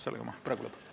Sellega ma praegu lõpetan.